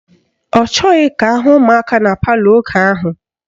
Ọ chọghị ka ahụ ụmụaka na palọ oge ahụ.